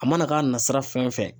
A mana k'a nasira fɛn o fɛn.